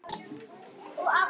Um hvað er sagan?